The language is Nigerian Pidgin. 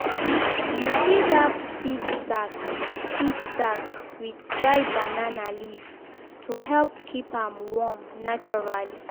you fit wrap seed sack seed sack with dry banana leaf to help keep am warm naturally.